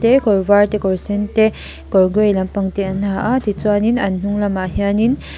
te kawr var te kawr sen te kawr grey lampang te an ha a tichuanin an hnung lamah hianin --